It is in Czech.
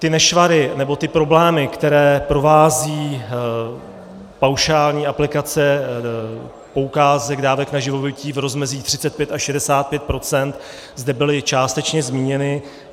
Ty nešvary, nebo ty problémy, které provází paušální aplikace poukázek dávek na živobytí v rozmezí 35 až 65 %, zde byly částečně zmíněny.